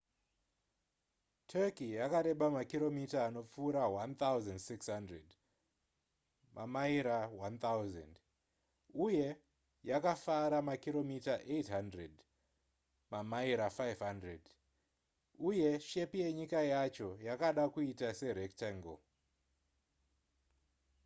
turkey yakareba makiromita anopfuura 1,600 mamaira 1,000 uye yakafara makiromita 800 mamaira 500 uye shepi yenyika yacho yakada kuita serectangle